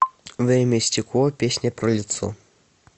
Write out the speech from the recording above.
время и стекло песня про лицо